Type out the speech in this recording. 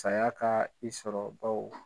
Saya kaa i sɔrɔ baw.